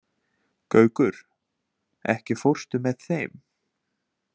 Gaukur, ekki fórstu með þeim?